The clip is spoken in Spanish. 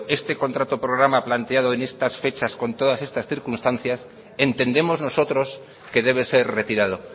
este contrato programa planteado en estas fecha con todas estas circunstancias entendemos nosotros que debe ser retirado